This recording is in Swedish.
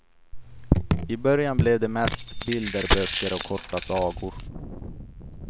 I början blev det mest bilderböcker och korta sagor.